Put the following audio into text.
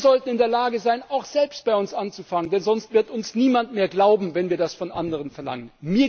Wir sollten in der Lage sein, auch bei uns selbst anzufangen, denn sonst wird uns niemand mehr glauben, wenn wir das von anderen verlangen.